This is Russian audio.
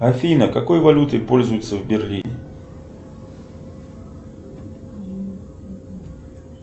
афина какой валютой пользуются в берлине